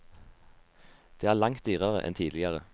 Det er langt dyrere enn tidligere.